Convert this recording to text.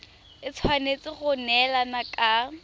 e tshwanetse go neelana ka